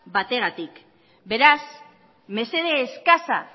batengatik beraz mesede eskasa